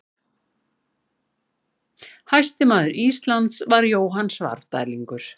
Hæsti maður Íslands var Jóhann Svarfdælingur.